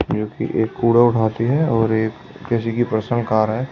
जो कि एक कूड़ा उठाती है और एक किसी की पर्सनल कार है।